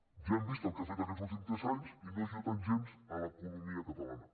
ja hem vist el que ha fet aquests últims tres anys i no ha ajudat gens l’economia catalana